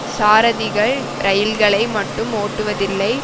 சாரதிகள் இரயில்களை மட்டும் ஓட்டுவதில்லை